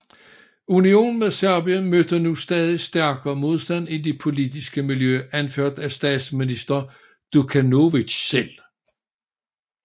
Unionen med Serbien mødte nu stadig stærkere modstand i det politiske miljø anført af statsminister Đukanović selv